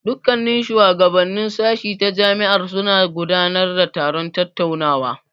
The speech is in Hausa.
Dukkannin shuwagabannin sashi ta jami'ar suna gudanar da taron tattaunawa.